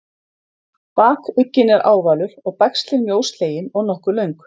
bakugginn er ávalur og bægslin mjóslegin og nokkuð löng